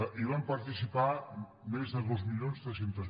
hi van participar més de dos mil tres cents